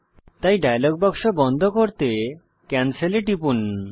তাই ডায়ালগ বাক্স বন্ধ করতে ক্যানসেল এ টিপুন